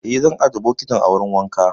Eh, zan ajiye bokitin a wurin wanka.